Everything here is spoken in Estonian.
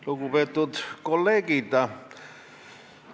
Lugupeetud kolleegid!